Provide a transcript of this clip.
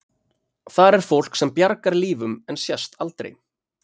Þar er fólk sem bjargar lífum en sést aldrei.